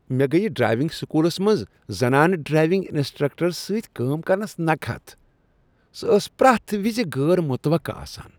مےٚ گیہ ڈرایونگ سکولس منٛز زنانہٕ ڈرایونٛگ انسٹرکٹرس سۭتہِ کٲم کرنس نكہت ۔ سۄ ٲس پرٛیتھ وزغٲر مٗتوقہٕ آسان۔